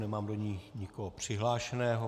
Nemám do ní nikoho přihlášeného.